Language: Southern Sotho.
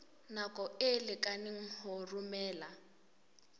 nako e lekaneng ho romela